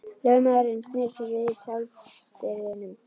Lögmaðurinn sneri sér við í tjalddyrunum.